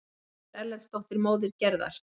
Sigríður Erlendsdóttir, móðir Gerðar.